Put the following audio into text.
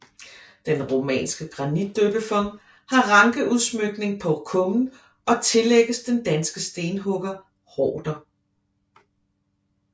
Den romanske granitdøbefont har rankeudsmykning på kummen og tillægges den danske stenhugger Horder